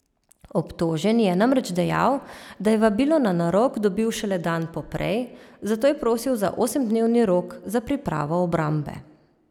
Obtoženi je namreč dejal, da je vabilo na narok dobil šele dan poprej, zato je prosil za osemdnevni rok za pripravo obrambe.